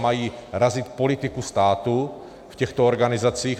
Mají razit politiku státu v těchto organizacích.